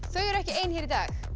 þau eru ekki ein hér í dag